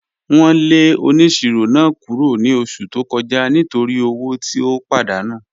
Wọn lẹ ọniṣirọ̀ náà kúrọ̀ ni ọṣù tó kọja nítorí ọwọ̀ tí ó pàdánù